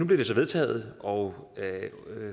vedtaget og